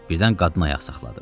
Birdən qadın ayaq saxladı.